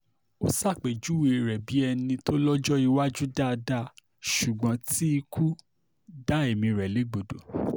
ó ṣàpèjúwe rẹ̀ bíi ẹni tó lọ́jọ́ iwájú dáadáa ṣùgbọ́n tí ikú dá ẹ̀mí rẹ̀ légbodò